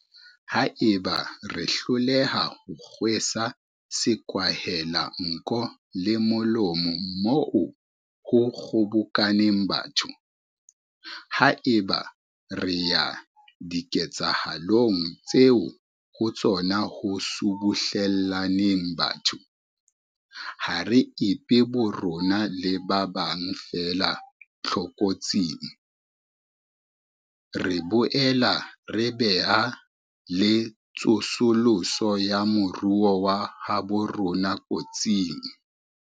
Haeba re hloleha ho kgwesa sekwahelanko le molomo moo ho kgobokaneng batho, haeba re ya diketsahalong tseo ho tsona ho subuhle llaneng batho, ha re ipee borona le ba bang feela tlokotsing, re boela re bea le tsosoloso ya moruo wa habo rona kotsing.